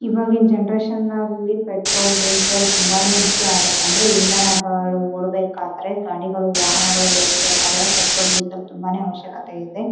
ಎಲ್ಲೇಲಿರೋ petrol bunk ಹದಿನೈದು litre ಇಪ್ಪತ್ litre petrol diesel ತಗೊಂಡ್ ಹೊತರ ಹಳ್ಳಿದೊರ್ ಎಲ್ಲಾ.